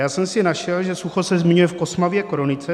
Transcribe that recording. Já jsem si našel, že sucho se zmiňuje v Kosmově kronice.